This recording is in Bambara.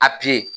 A